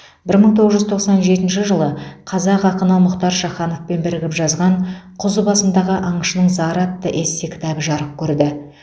бір мың тоғыз жүз тоқсан жетінші жылы қазақ ақыны мұхтар шахановпен бірігіп жазған құз басындағы аңшының зары атты эссе кітабы жарық көрді